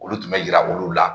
Olu tun bɛ yira olu la.